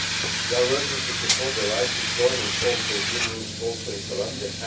We are working to support the right to join and form trade unions, also in Colombia